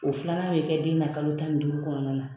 O filanan bɛ kɛ den na kalo tan ni duuru kɔnɔna na.